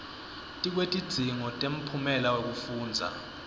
tikwetidzingo temphumela wekufundza